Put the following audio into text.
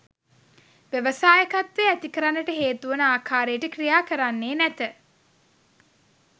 ව්‍යවසායකත්වය ඇති කරන්නට හේතුවන ආකාරයට ක්‍රියා කරන්නේ නැත.